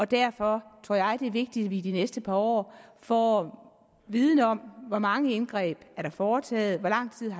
derfor tror jeg at det er vigtigt at vi i de næste par år får viden om hvor mange indgreb der er foretaget hvor lang tid